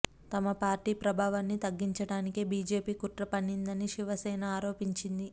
తమ పార్టీ ప్రాభవాన్ని తగ్గించడానికే బీజేపీ కుట్ర పన్నిందని శివసేన ఆరోపించింది